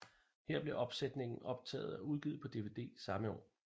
Her blev opsætningen optaget og udgivet på dvd samme år